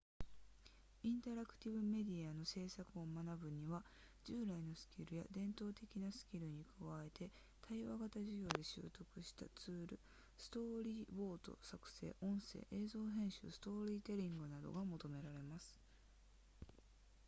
インタラクティブメディアの制作を学ぶには従来のスキルや伝統的なスキルに加えて対話型授業で習得したツールストーリーボード作成音声映像編集ストーリーテリングなどが求められます